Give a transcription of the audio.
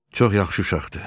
Çox yaxşı uşaqdır.